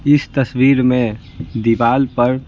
इस तस्वीर में दीवार पर--